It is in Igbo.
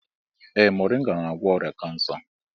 Ee moringa na-agwọ ọrịa kansa.